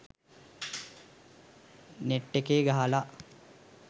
net එකේ ගහලා